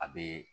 A bee